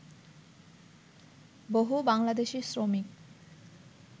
বহু বাংলাদেশি শ্রমিক